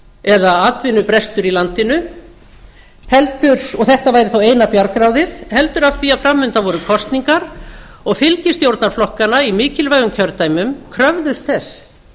eða atvinnubrestur í landinu og þetta væri þá eina bjargráðið heldur af því að fram undan voru kosningar og fylgi stjórnarflokkanna í mikilvægum kjördæmum kröfðust þess